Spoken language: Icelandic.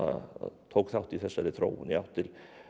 tók þátt í þessari þróun í átt til